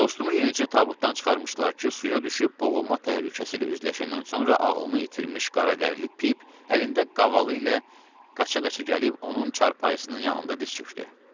Dostumu yenicə tabutdan çıxarmışdılar ki, suya düşüb boğulma təhlükəsi ilə üzləşəndən sonra ağlını itirmiş qara dərili Pip əlində qavalı ilə qaça-qaça gəlib onun çarpayısının yanında diz çökdü.